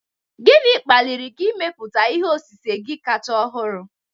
Gịnị kpaliri gị ịmepụta ihe osise gị kacha ọhụrụ?